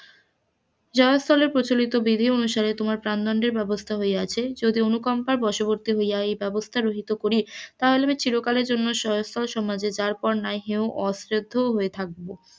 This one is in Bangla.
জয়স্থলের প্রচলিত বিধি অনুসারে তোমার প্রাণ দন্ডের ব্যবস্থা হইয়াছে যদি অনুকম্পার বশবর্তী হইয়া এই ব্যবস্থা করি তাহা হইলে চিরকালের জন্য সমাজের যারপর ন্যায় হ্রেয় অসাধু হয়ে থাকব,